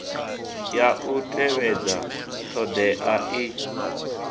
ya u tevhedza thodea i